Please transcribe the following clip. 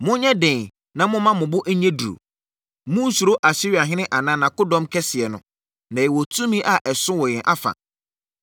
“Monyɛ den na momma mo bo nyɛ duru. Monnsuro Asiriahene anaa nʼakodɔm kɛseɛ no, na yɛwɔ tumi a ɛso wɔ yɛn afa.